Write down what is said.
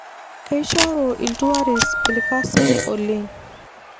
Keishoru iltuarist irkasin oleng.